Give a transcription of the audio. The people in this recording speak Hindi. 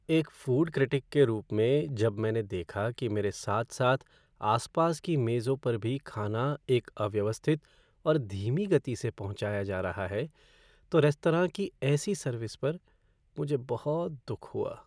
एक फ़ूड क्रिटिक के रूप में जब मैंने देखा कि मेरे साथ साथ आसपास की मेजों पर भी खाना एक अव्यवस्थित और धीमी गति से पहुंचाया जा रहा है तो रेस्तरां की ऐसी सर्विस पर मुझे बहुत दुख हुआ।